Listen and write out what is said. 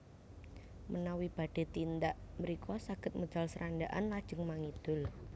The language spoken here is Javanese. Menawi badhé tindak mrika saged medal Srandakan lajeng mangidul